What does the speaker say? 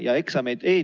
Aitäh, hea juhataja!